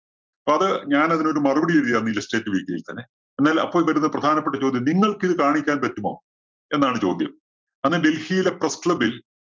അപ്പോ അത് ഞാനതിനൊരു മറുപടി എഴുതി അന്ന് Illustrate weekly യില്‍ തന്നെ. അപ്പോൾ വരുന്ന പ്രധാനപ്പെട്ട ചോദ്യം നിങ്ങൾക്കിത് കാണിക്കാൻ പറ്റുമോ? എന്നാണ് ചോദ്യം. അന്ന് ഡൽഹിയിലെ press club ല്‍